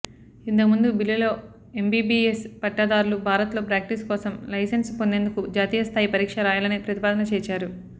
ఇంతకుముందు బిల్లులో ఎంబీబీఎస్ పట్టాదారులు భారత్లో ప్రాక్టీసు కోసం లైసెన్స్ పొందేందుకు జాతీయ స్థాయి పరీక్ష రాయాలనే ప్రతిపాదన చేర్చారు